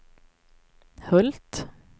Hult